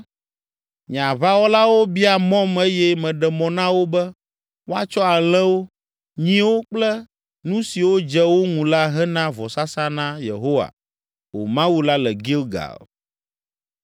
Nye aʋawɔlawo bia mɔm eye meɖe mɔ na wo be woatsɔ alẽwo, nyiwo kple nu siwo dze wo ŋu la hena vɔsasa na Yehowa wò Mawu la le Gilgal.”